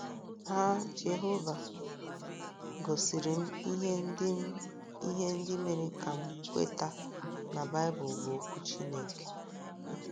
Ha Jehova gosiri m ihe ndị m ihe ndị mere ka m kweta na Baịbụl bụ Okwu Chineke.